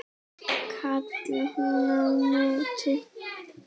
kallaði hún á móti.